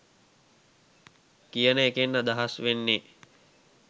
කියන එකෙන් අදහස් වෙන්නේ.